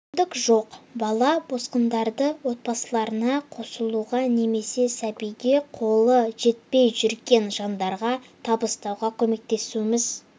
мүмкіндік жоқ бала босқындарды отбасыларына қосылуға немесе сәбиге қолы жетпей жүрген жандарға табыстауға көмектесуіміз